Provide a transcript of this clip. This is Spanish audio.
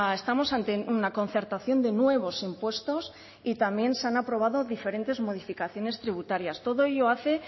estamos ante una concertación de nuevos impuestos y también se han aprobado diferentes modificaciones tributarias todo ello hace